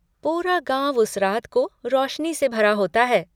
पूरा गाँव उस रात को रोशनी से भर होता है।